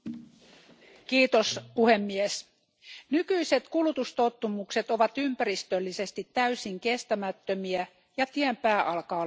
Arvoisa puhemies, nykyiset kulutustottumukset ovat ympäristöllisesti täysin kestämättömiä, ja tien pää alkaa olla näkyvissä.